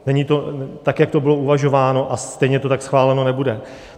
Není to tak, jak to bylo uvažováno, a stejně to tak schváleno nebude.